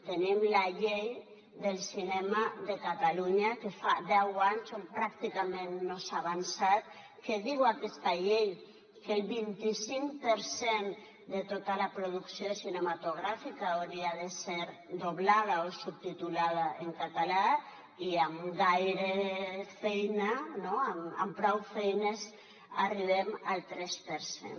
tenim la llei del cinema de catalunya que fa deu anys on pràcticament no s’ha avançat que diu aquesta llei que el vint i cinc per cent de tota la producció cinematogràfica hauria de ser doblada o subtitulada en català i amb prou feines arribem al tres per cent